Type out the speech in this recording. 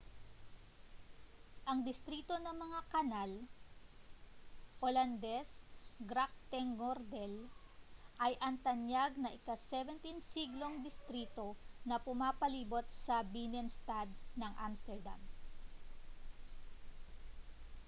ang distrito ng mga kanal olandes: grachtengordel ay ang tanyag na ika-17 siglong distrito na pumapalibot sa binnenstad ng amsterdam